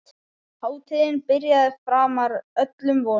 Hátíðin byrjaði framar öllum vonum.